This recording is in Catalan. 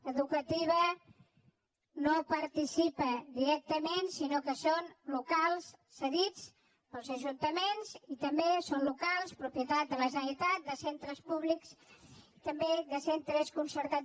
educativa no participa directament sinó que son locals cedits pels ajuntaments i també són locals propietat de la generalitat de centres públics i també de centres concertats